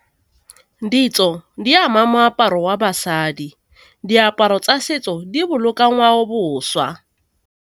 Ditso di ama moaparo wa basadi, diaparo tsa setso di boloka ngwaoboswa.